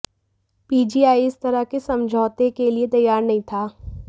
PGI इस तरह के समझौते के लिए तैयार नहीं था